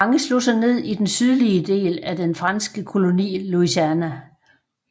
Mange slog sig ned i den sydlige del af den franske koloni Louisiana